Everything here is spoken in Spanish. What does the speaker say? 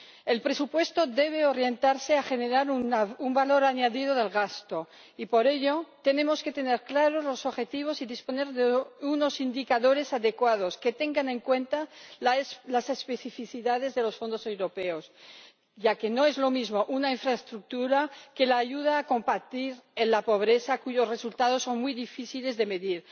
El presupuesto debe orientarse para generar un valor añadido del gasto, y por ello tenemos que tener claros los objetivos y disponer de unos indicadores adecuados que tengan en cuenta las especificidades de los fondos europeos, ya que no es lo mismo una infraestructura que la ayuda para combatir la pobreza, cuyos resultados son muy difíciles de medir.